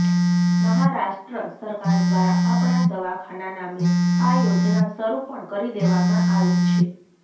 મહારાષ્ટ્ર સરકાર દ્વારા આપણા દવાખાના નામે આ યોજના શરૂ પણ કરી દેવામાં આવી છે